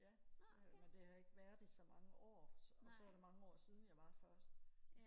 ja det er jeg men det har jeg ikke været i så mange år og så var det mange år siden jeg var først